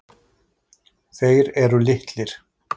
Þeir eru litlir.